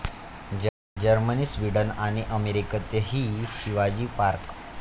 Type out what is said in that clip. Germany, Sweden आणि अमेरिकेतही Shivaji park!